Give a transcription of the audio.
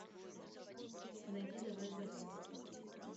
найди давай взорвем